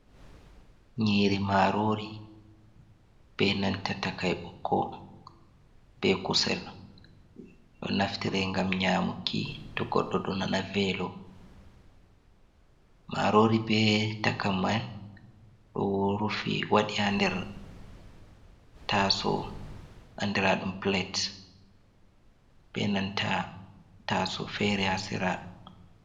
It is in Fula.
Nyiiri marori, be nanta takai ɓokko, be kusel. Ɗo naftire ngam nyaamuki to goɗɗo ɗo nana veelo, marori be takai man ɗo rufi waɗi haa nder taaso andira ɗum pilet, be nanta taaso feere haa sera.